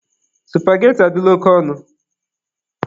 Supageti adịla oke ọnụ.